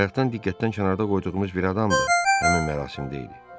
Bayaqdan diqqətdən kənarda qoyduğumuz bir adam da həmin mərasimdə idi.